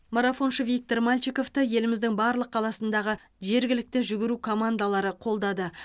марафоншы виктор мальчиковты еліміздің барлық қаласындағы жергілікті жүгіру командалары қолдады